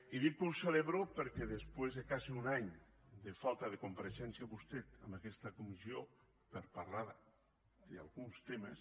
i dic que ho celebro perquè després de quasi un any de falta de compareixença vostè en aquesta comissió per parlar d’alguns temes